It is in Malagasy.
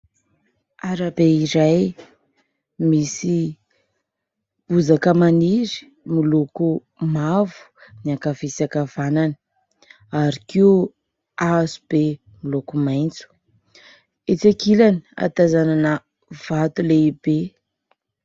Arabe iray misy bozaka maniry miloko mavo ny ankavia sy ankavanana ary koa hazo be miloko maitso, etsy ankilany ahatazanana vato lehibe.